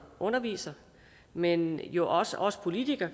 underviser men jo også os politikere